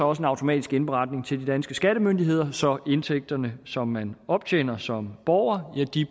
også en automatisk indberetning til de danske skattemyndigheder så indtægterne som man optjener som borger